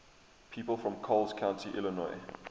people from coles county illinois